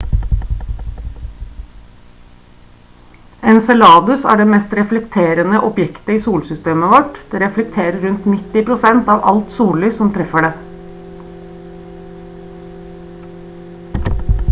enceladus er det mest reflekterende objektet i solsystemet vårt det reflekterer rundt 90 % av alt sollys som treffer det